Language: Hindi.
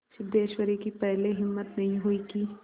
सिद्धेश्वरी की पहले हिम्मत नहीं हुई कि